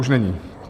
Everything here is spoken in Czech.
Už není?